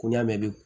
Ko ɲɛ bɛ